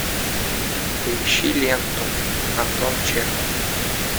поищи ленту антон чехов